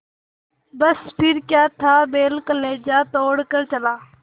बस फिर क्या था बैल कलेजा तोड़ कर चला